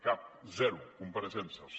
cap zero compareixences